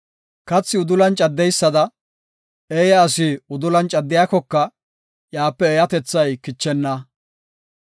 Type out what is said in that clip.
Kathi udulan caddeysada, eeya asi udulan caddiyakoka iyape eeyatethay kichenna.